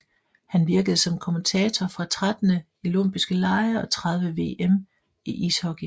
Han virkede som kommentator fra 13 Olympiske lege og 30 VM i ishockey